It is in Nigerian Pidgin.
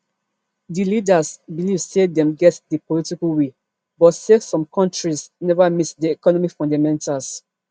di leaders believe say dem get di political will but say some kontris neva meet di economic fundamentals